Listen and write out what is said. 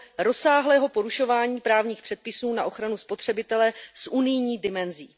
rozsáhlého porušování právních předpisů na ochranu spotřebitele s unijní dimenzí.